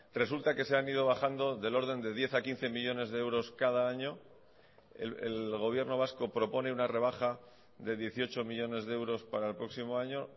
resulta que se han ido bajando del orden de diez a quince millónes de euros cada año el gobierno vasco propone una rebaja de dieciocho millónes de euros para el próximo año